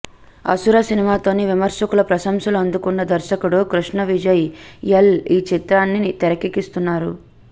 అసుర సినిమాతో విమర్శకుల ప్రశంసలు అందుకున్న దర్శకుడు కృష్ణ విజయ్ ఎల్ ఈ చిత్రాన్ని తెరకెక్కిస్తున్నారు